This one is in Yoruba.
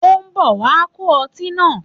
Ó ń bọ̀ wá kó ọtí náà.